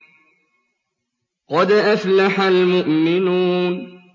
قَدْ أَفْلَحَ الْمُؤْمِنُونَ